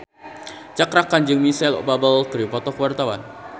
Cakra Khan jeung Micheal Bubble keur dipoto ku wartawan